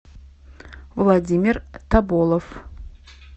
владимир тоболов